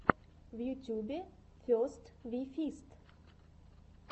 в ютюбе фест ви фист